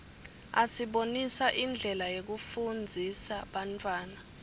asibonisa indlela yekufundzisa bantfwana